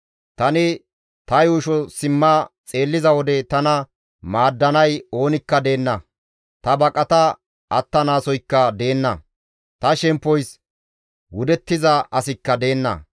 Tani ta yuusho simma xeelliza wode tana maaddanay oonikka deenna; ta baqata attanaasoyka deenna; ta shemppoys wudettiza asikka deenna.